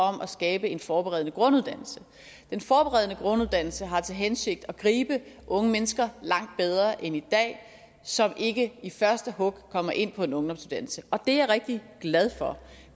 om at skabe en forberedende grunduddannelse den forberedende grunduddannelse har til hensigt at gribe unge mennesker langt bedre end i dag som ikke i første hug kommer ind på en ungdomsuddannelse og det er jeg rigtig glad for